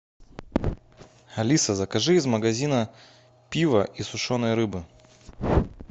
алиса закажи из магазина пива и сушеной рыбы